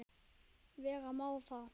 Vera má að